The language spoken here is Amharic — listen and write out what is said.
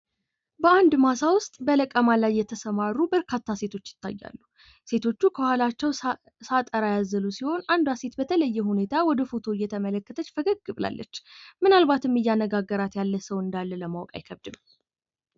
የግብርና ምርቶችን ወደ ገበያ ማቅረብና ተወዳዳሪ ማድረግ የመንግስትና የባለድርሻ አካላት የትኩረት አቅጣጫ መሆን አለበት።